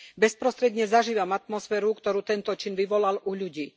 Bezprostredne zažívam atmosféru, ktorú tento čin vyvolal u ľudí.